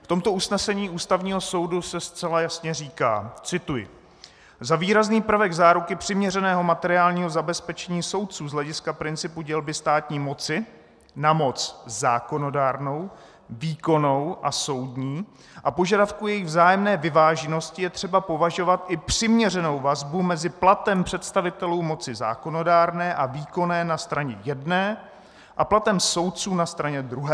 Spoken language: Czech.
V tomto usnesení Ústavního soudu se zcela jasně říká - cituji: Za výrazný prvek záruky přiměřeného materiálního zabezpečení soudců z hlediska principu dělby státní moci na moc zákonodárnou, výkonnou a soudní a požadavků jejich vzájemné vyváženosti je třeba považovat i přiměřenou vazbu mezi platem představitelů moci zákonodárné a výkonné na straně jedné a platem soudců na straně druhé.